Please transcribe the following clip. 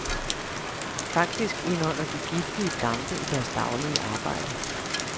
Faktisk indånder de giftige dampe i deres daglige arbejde.